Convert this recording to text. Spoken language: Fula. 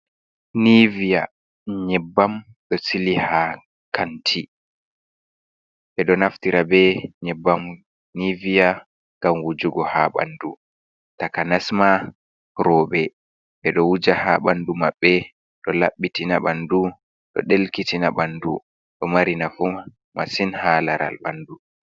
Nivia nyebbam ɗo sili ha kanti, ɓe ɗo naftira be nyebbam nivia gam wujugo ha ɓandu taka nasma rewɓe ɓe ɗo wuuja ha bandu maɓɓe do labbitina ɓandu, ɗo delkitina ɓandu do marina fuu masin ha laral bandu.